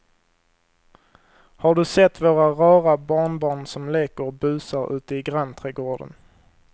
Har du sett våra rara barnbarn som leker och busar ute i grannträdgården!